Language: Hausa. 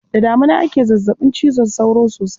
Da damina ake zazzaɓin cizon sauro sosai.